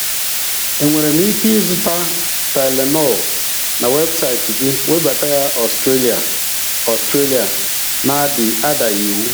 E nwere m ike ịzụta tylenol na websaịt gị webata ya Australia Australia na-adaghị iwu?